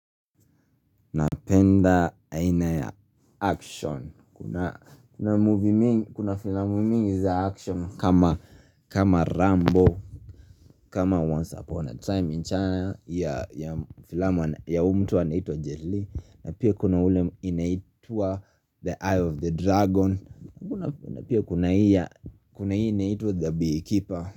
Napenda aina ya action Kuna filamu mingi za action kama Rambo kama Once Upon a time in China ya filamu ya huu mtu anaitwa Jay Lee na pia kuna ule inaitwa The Eye of the Dragon Kuna pia kuna hii inaitwa The Beekeeper.